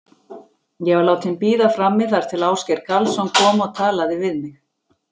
Ég var látin bíða frammi þar til Ásgeir Karlsson kom og talaði við mig.